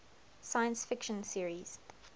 science fiction series